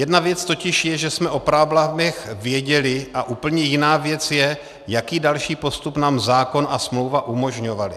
Jedna věc totiž je, že jsme o problémech věděli, a úplně jiná věc je, jaký další postup nám zákon a smlouva umožňovaly.